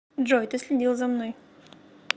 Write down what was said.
джой ты следил за мной